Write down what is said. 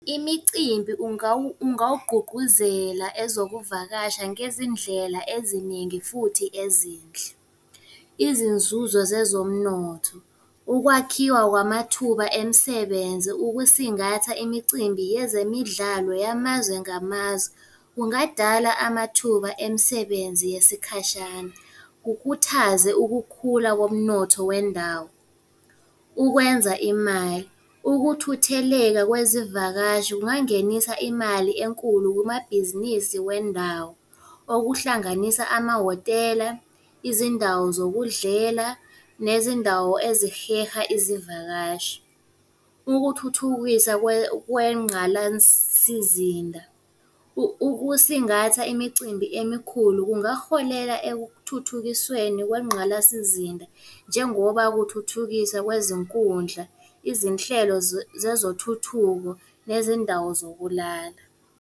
Imicimbi ungawugqugquzela ezokuvakasha ngezindlela eziningi futhi ezinhle. Izinzuzo zezomnotho, ukwakhiwa kwamathuba emisebenzi, ukusingatha imicimbi yezemidlalo yamazwe ngamazwe, kungadala amathuba emisebenzi yesikhashana, kukhuthaze ukukhula komnotho wendawo. Ukwenza imali, ukuthutheleka kwezivakashi kungangenisa imali enkulu kumabhizinisi wendawo okuhlanganisa amahhotela, izindawo zokudlela, nezindawo eziheha izivakashi. Ukuthuthukisa kwengqalasizinda, ukusingatha imicimbi emikhulu kungaholela ekuthuthukisweni kwengqalasizinda njengoba kuthuthukisa kwezinkundla, izinhlelo zezothuthuko nezindawo zokulala.